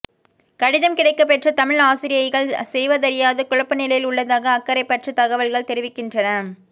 கடிதம் கிடைக்கப்பெற்ற தமிழ் ஆசிரியைகள் செய்வதறியாது குழப்ப நிலையில் உள்ளதாக அக்கரைப்பற்று தகவல்கள் தெரிவிக்கின்றன